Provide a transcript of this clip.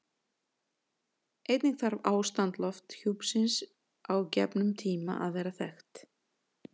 Einnig þarf ástand lofthjúpsins á gefnum tíma að vera þekkt.